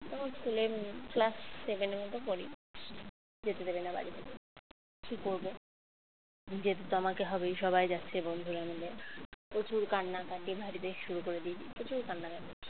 তখন school এ class seven এ মত পড়ি যেতে দেবে না বাড়ি থেকে। কি করব যেতে তো আমাকে হবেই সবাই যাচ্ছে বন্ধুরা মিলে। প্রচুর কান্নাকাটি বাড়িতে শুরু করে দিয়েছি প্রচুর কান্নাকাটি